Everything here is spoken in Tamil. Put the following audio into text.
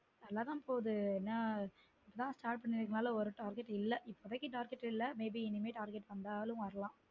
நல்லா தான் போகுது ஏன்னா இப்போ தான் start பண்ணிருக்கறதல ஒரு target எதுவும் இல்ல இப்போதைக்கு target இல்ல maybe target வந்தாலும் வரலாம்